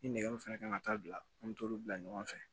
Ni nɛgɛ min fɛnɛ kan ka taa bila an bi t'olu bila ɲɔgɔn fɛ